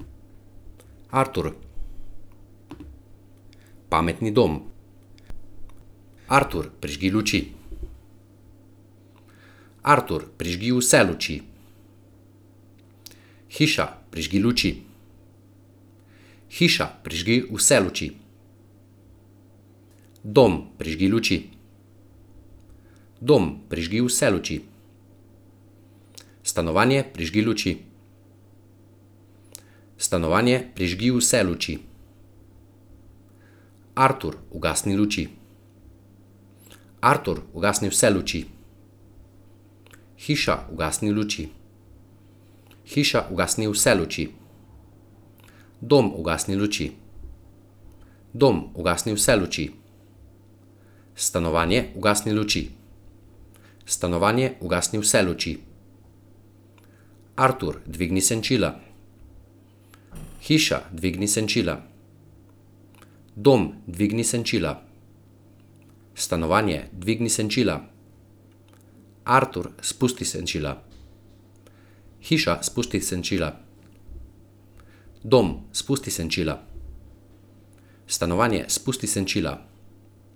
Artur. Pametni dom. Artur, prižgi luči. Artur, prižgi vse luči. Hiša, prižgi luči. Hiša, prižgi vse luči. Dom, prižgi luči. Dom, prižgi vse luči. Stanovanje, prižgi luči. Stanovanje, prižgi vse luči. Artur, ugasni luči. Artur, ugasni vse luči. Hiša, ugasni luči. Hiša, ugasni vse luči. Dom, ugasni luči. Dom, ugasni vse luči. Stanovanje, ugasni luči. Stanovanje, ugasni vse luči. Artur, dvigni senčila. Hiša, dvigni senčila. Dom, dvigni senčila. Stanovanje, dvigni senčila. Artur, spusti senčila. Hiša, spusti senčila. Dom, spusti senčila. Stanovanje, spusti senčila.